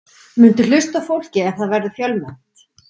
Muntu hlusta á fólkið ef það verður fjölmennt?